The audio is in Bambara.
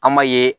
An m'a ye